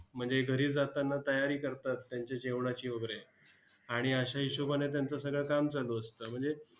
म्हणजे घरी जाताना तयारी करतात त्यांच्या जेवणाची वगैरे. आणि अश्या हिशोबानं त्यांचं सगळं काम चालू असतं. म्हणजे